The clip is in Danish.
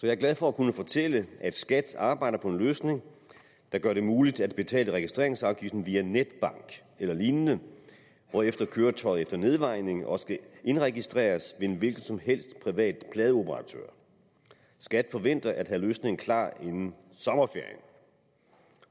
er glad for at kunne fortælle at skat arbejder på en løsning der gør det muligt at betale registreringsafgiften via netbank eller lignende hvorefter køretøjet efter nedvejning også kan indregistreres en hvilken som helst privat pladeoperatør skat forventer at have løsningen klar inden sommerferien